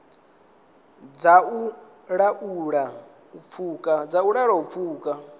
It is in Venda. dza u laula u pfuka